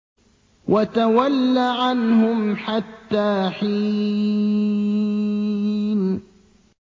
وَتَوَلَّ عَنْهُمْ حَتَّىٰ حِينٍ